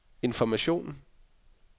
information